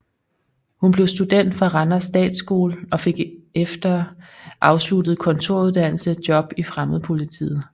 Hun blev student fra Randers Statsskole og fik efter afsluttet kontoruddannelse job i Fremmedpolitiet